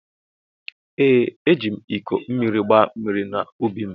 Ee ejim iko mmiri gba mmiri na ubi m.